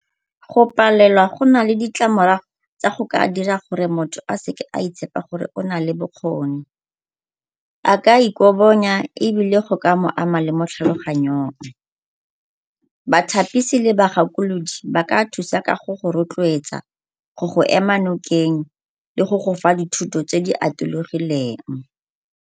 Go palelwa go na le ditlamorago tsa go ka dira gore motho a seka a itshepa gore o na le bokgoni. A ka ikobonya ebile go ka mo ama le mo tlhaloganyong. Bathapisi le bagakolodi ba ka thusa ka go go rotloetsa, go go ema nokeng, le go gofa dithuto tse di atologileng.